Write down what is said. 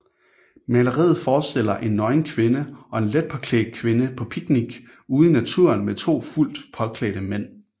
Maleriet forstiller en nøgen kvinde og en letpåklædt kvinde på picnic ude i naturen med to fuldt påklædte mænd